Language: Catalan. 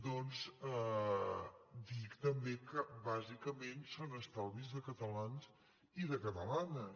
doncs dir també que bàsicament són estalvis de catalans i de catalanes